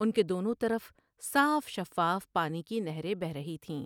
ان کے دونوں طرف صاف شفاف پانی کی نہریں بہہ رہی تھیں ۔